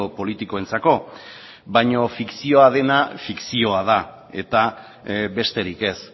politikoentzako baina fikzioa dena fikzioa da eta besterik ez